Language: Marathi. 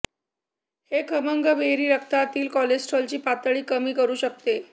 हे खमंग बेरी रक्तातील कोलेस्टेरॉलची पातळी कमी करू शकते